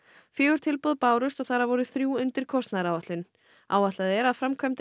fjögur tilboð bárust og þar af voru þrjú undir kostnaðaráætlun áætlað er að framkvæmdir